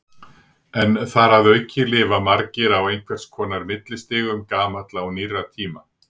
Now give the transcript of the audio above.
En þar að auki lifa margir á einhvers konar millistigum gamalla og nýrra tíma.